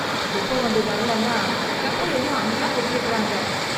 குப்பவண்டி வரலைனா குப்பையையும் அங்கேயே கொட்டிடறாங்க